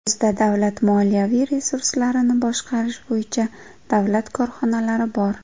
Bizda davlat moliyaviy resurslarini boshqarish bo‘yicha davlat korxonalari bor.